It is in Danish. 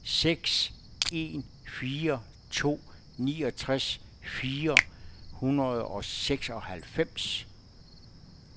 seks en fire to niogtres fire hundrede og seksoghalvfems